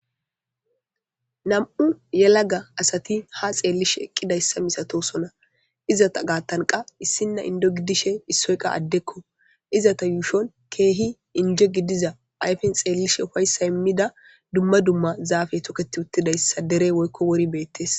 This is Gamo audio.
Nammu' yelaga assatti ha xelishe eqidayssa misathossona. Izzatha gathan qaa issina inddo gidishin issoyi qaa adde izzatha yushun keehi injje gidiza ayfen xelishe uffayssa imida dumma dumma zaffe tokethi uttidayssa dere woykko worayi bethess.